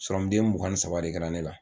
den mugan ni saba de kɛra ne la